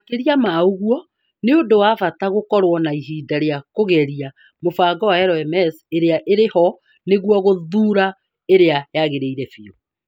Makĩria ma ũguo, nĩ ũndũ wa bata gũkorwo na ihinda rĩa kũgeria mũbango wa LMS ĩrĩa ĩrĩ ho nĩguo gũthũra ĩrĩa yagĩrĩire biũ